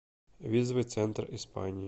визовый центр испании